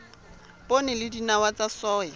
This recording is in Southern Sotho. poone le dinawa tsa soya